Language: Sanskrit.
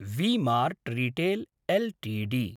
V-Mart retail LTD